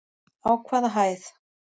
Á hvaða hæð?